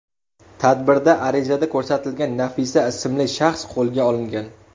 Tadbirda arizada ko‘rsatilgan Nafisa ismli shaxs qo‘lga olingan.